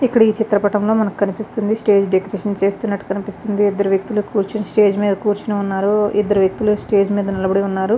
ఇక్కడ ఈ చిత్ర పటంలో మనకు కనిపిస్తుంది స్టేజ్ డెకరేషన్ చేస్తున్నట్టు కనిపిస్తుంది. ఇద్దరు వ్యక్తులు కూర్చొని స్టేజ్ మీద కూర్చొని ఉన్నారు. ఇద్దరు వ్యక్తులు స్టేజ్ మీద నిలబడి ఉన్నారు.